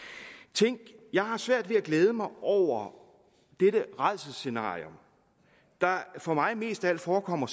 tænk jeg har svært ved at glæde mig over dette rædselsscenarie der for mig mest af alt forekommer